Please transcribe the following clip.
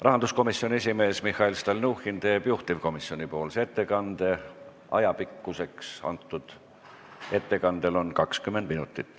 Rahanduskomisjoni esimees Mihhail Stalnuhhin teeb juhtivkomisjoni nimel ettekande, aega on selleks 20 minutit.